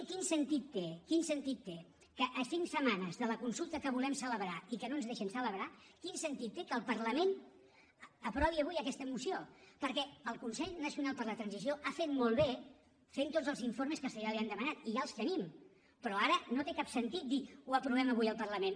quin sentit té quin sentit té que a cinc setmanes de la consulta que volem celebrar i que no ens deixen celebrar el parlament aprovi avui aquesta moció perquè el consell per a la transició nacional ha fet molt bé fent tots els informes que se li han demanat i ja els tenim però ara no té cap sentit dir ho aprovem avui al parlament